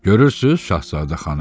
Görürsüz, Şahzadə xanım?